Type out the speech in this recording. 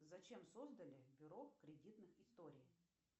зачем создали бюро кредитных историй